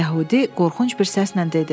Yəhudi qorxunc bir səslə dedi: